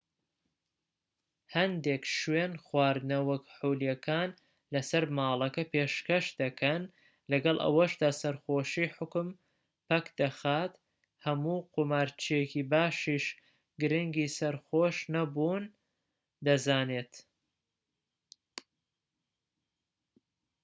هەندێک شوێن خواردنەوە کحولیەکان لەسەر ماڵەکە پێشکەش دەکەن لەگەڵ ئەوەشدا سەرخۆشی حوکم پەکدەخات و هەموو قومارچییەکی باشیش گرنگی سەرخۆش نەبوون دەزانێت